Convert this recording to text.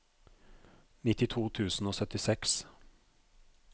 nittito tusen og syttiseks